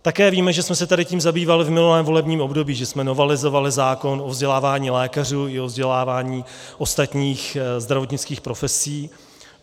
Také víme, že jsme se tady tím zabývali v minulém volebním období, že jsme novelizovali zákon o vzdělávání lékařů i o vzdělávání ostatních zdravotnických profesí.